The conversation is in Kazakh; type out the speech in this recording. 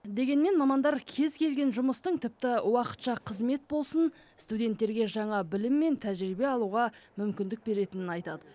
дегенмен мамандар кез келген жұмыстың тіпті уақытша қызмет болсын студенттерге жаңа білім мен тәжірибе алуға мүмкіндік беретінін айтады